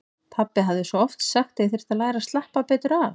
Pabbi hafði svo oft sagt að ég þyrfti að læra að slappa betur af.